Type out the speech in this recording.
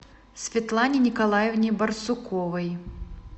светлане николаевне барсуковой